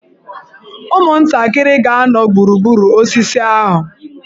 Ụmụntakịrị ga-anọ gburugburu osisi ahụ.